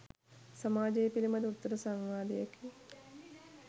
සමාජය පිළිබඳ උත්තර සංවාදයකි.